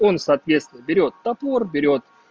он соответственно берёт топор берёт